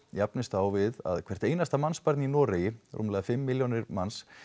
jafnist á við að hvert einasta mannsbarn í Noregi rúmlega fimm milljónir manns